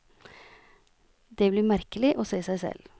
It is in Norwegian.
Det blir merkelig å se seg selv.